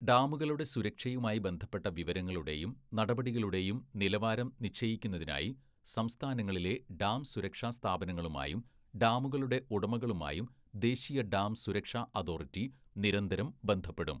"ഡാമുകളുടെ സുരക്ഷയുമായി ബന്ധപ്പെട്ട വിവരങ്ങളുടെയും നടപടികളുടെയും നിലവാരം നിശ്ചയിക്കുന്നതിനായി സംസ്ഥാനങ്ങളിലെ ഡാം സുരക്ഷാ സ്ഥാപനങ്ങളുമായും ഡാമുകളുടെ ഉടമകളുമായും ദേശീയ ഡാം സുരക്ഷാ അതോറിറ്റി നിരന്തരം ബന്ധപ്പെടും. "